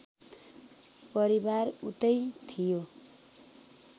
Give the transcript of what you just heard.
परिवार उतै थियो